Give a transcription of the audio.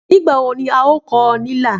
Nígbà wo ni a ó kọ ọ́ ní ilà?